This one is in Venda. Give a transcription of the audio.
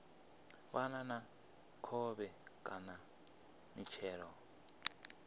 fana na khovhe kana mitshelo